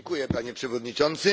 Panie Przewodniczący!